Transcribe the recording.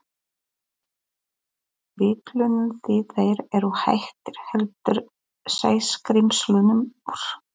Bítlunum því þeir eru hættir, heldur Sæskrímslunum úr